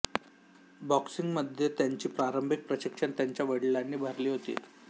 बॉक्सिंगमध्ये त्यांची प्रारंभिक प्रशिक्षण त्यांच्या वडिलांनी भरली होती